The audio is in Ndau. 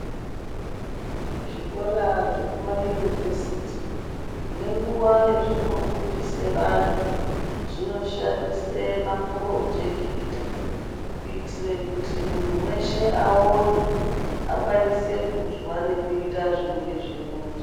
Zvikora zvekuma university ngenguwa yazvinofundise vanhu zvinoshandise mapurojekita kuitire kuti munhu weshe akone , akwanise kunzwa nekuita zvinenge zveironzwa.